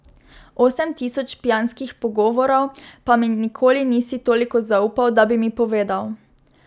Osem tisoč pijanskih pogovorov, pa mi nikoli nisi toliko zaupal, da bi mi povedal.